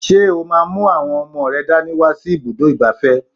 Ṣé o máa mú àwọn ọmọ rẹ dání wá sí ibùdó ìgbafẹ́?